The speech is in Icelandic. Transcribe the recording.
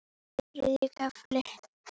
Þriðji kafli